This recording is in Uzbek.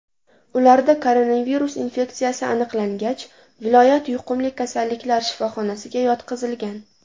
Ularda koronavirus infeksiyasi aniqlangach, viloyat yuqumli kasalliklar shifoxonasiga yotqizilgan.